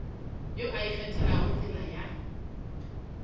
yo a ikgethelago tsela ya